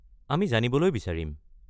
আমি জানিবলৈ বিচাৰিম।